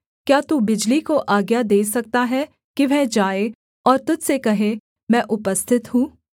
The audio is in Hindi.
क्या तू बिजली को आज्ञा दे सकता है कि वह जाए और तुझ से कहे मैं उपस्थित हूँ